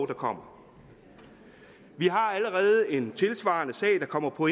der kommer vi har allerede en tilsvarende sag der kommer på